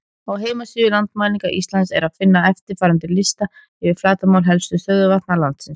Á heimasíðu Landmælinga Íslands er að finna eftirfarandi lista yfir flatarmál helstu stöðuvatna landsins: